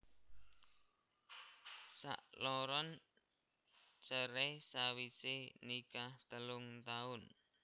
Sakloron cerai sawisé nikah telung taun